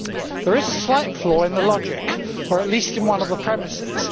There is a slight flaw in the logic or at least in one of the premises.